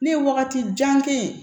Ne ye wagati jan kɛ